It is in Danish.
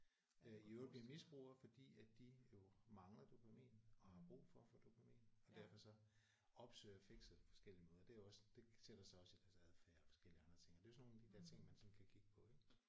Øh i øvrigt blive misbrugere fordi at de jo mangler dopamin og har brug for at få dopamin og derfor så opsøger fixet på forskellige måder det er jo også det sætter sig også i deres adfærd og forskellige andre ting og det er jo sådan nogle af de der ting man sådan kan kigge på ik